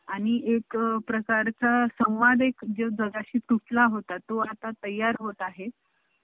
चालतंय.